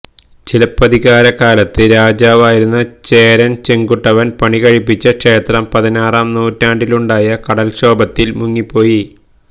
ചിലപ്പതികാരകാലത്ത് രാജാവായിരുന്ന ചേരൻ ചെങ്കുട്ടുവൻ പണി കഴിപ്പിച്ച ക്ഷേത്രം പതിനാറാം നൂറ്റാണ്ടിലുണ്ടായ കടല്ക്ഷോഭത്തിൽ മുങ്ങിപ്പോയി